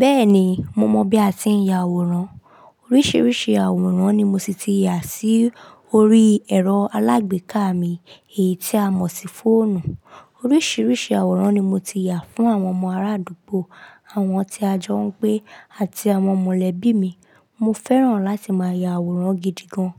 Bẹ́ẹ̀ni, mo mọ bí a ti ń ya àwòrán. Oríṣiríṣi àwòrán ni mo sì ti ya sí orí ẹ̀rọ alágbèéká mi èyí tí a mọ̀ sí fóònù. Oríṣiríṣi àwòrán ni mo ti ya fún àwọn ọmọ arádùgbò, àwọn tí a jọ ń gbé àti àwọn mọ̀lẹ́bí mi. Mo fẹ́ràn láti máa ya àwòrán gidi gan.